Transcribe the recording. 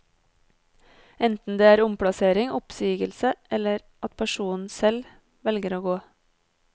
Enten det er omplassering, oppsigelse, eller at personen selv velger å gå.